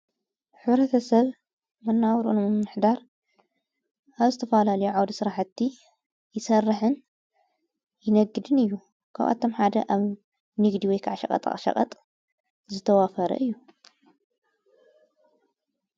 ኅረተሰለ መናውርዑ ምሕዳር ኣብ ስተፍላ ልዓድ ሥራሕቲ ይሰርሕን ይነግድን እዩ ካብኣቶም ሓደ ኣብ ንግዲወይ ኽዕሽቐጥቕሸቐጥ ዝተዋፈረ እዩ።